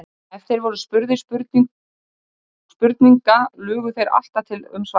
Ef þeir voru spurðir spurninga lugu þeir alltaf til um svarið.